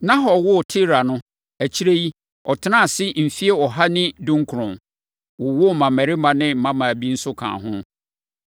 Nahor woo Tera no, akyire yi, ɔtenaa ase mfeɛ ɔha ne dunkron, wowoo mmammarima ne mmammaa bi nso kaa ho.